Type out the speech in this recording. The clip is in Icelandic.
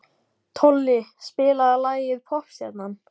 Tolli, spilaðu lagið „Poppstjarnan“.